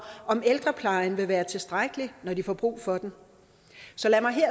om ældreplejen vil være tilstrækkelig når de får brug for den så lad mig